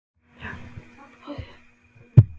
Gunnar Atli Gunnarsson: Í hverju felast þessa aðgerðir?